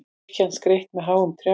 Kirkjan skreytt með háum trjám